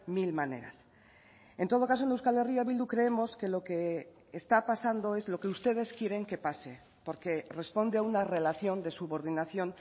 mil maneras en todo caso en euskal herria bildu creemos que lo que está pasando es lo que ustedes quieren que pase porque responde a una relación de subordinación